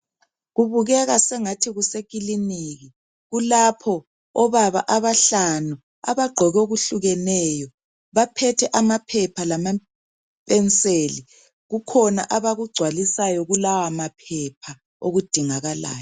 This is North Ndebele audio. Kubukeke sengathi kusekiliniki. Kulapho obaba abahlanu abagqoke okuhlukeneyo, baphethe amaphepha lama - mpenseli. Kukhona abakugcwalisayo kulawa maphepha okudingakalayo.